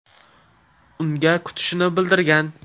Unga kutishini bildirgan.